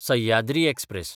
Sahyadri express